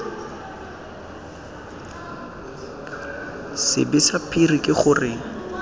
sebe sa phiri ke gore